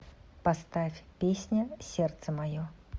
поставь песня сердце мое